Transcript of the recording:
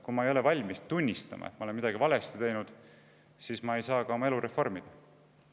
Kui ma ei ole valmis tunnistama, et ma olen midagi valesti teinud, siis ma ei saa oma elu reformida.